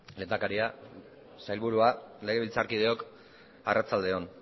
lehendakaria sailburuak legebiltzarkideok arratsalde on